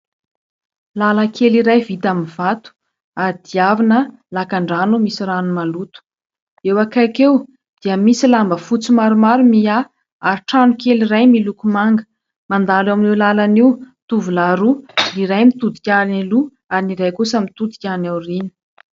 Lalankely iray vita amin'ny vato ary diavina lakandrano misy rano maloto. Eo akaiky eo dia misy lamba fotsy maromaro miahy ary trano kely iray miloko manga. Mandalo amin'io lalana io tovolahy roa : ny iray mitodika any aloha ary ny iray kosa mitodika any aoriana.